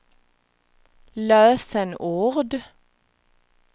lösenord